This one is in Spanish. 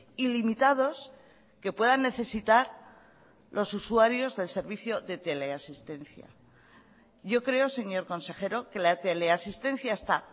ilimitados que puedan necesitar los usuarios del servicio de teleasistencia yo creo señor consejero que la teleasistencia está